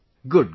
Good, good